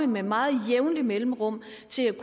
med meget jævne mellemrum